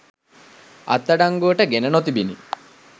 අත්අඩංගුවට ගෙන නොතිබිණි.